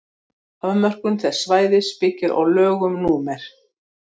afmörkun þess svæðis byggir á lögum númer